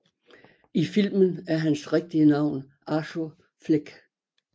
I filmen er hans rigtige navn Arthur Fleck